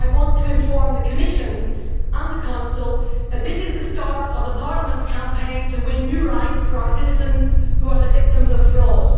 I want to inform the Commission and the Council that this is the start of Parliament's campaign to win new rights for our citizens who are the victims of fraud.